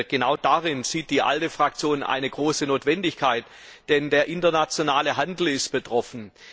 Genau darin sieht die ALDE Fraktion eine dringende Notwendigkeit, denn der internationale Handel ist betroffen.